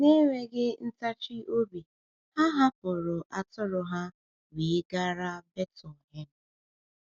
Na-enweghị ntachi obi, ha hapụrụ atụrụ ha wee gara Betlehem.